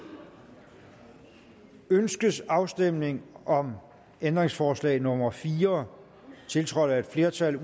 ønskes afstemning om ændringsforslag nummer fire tiltrådt af et flertal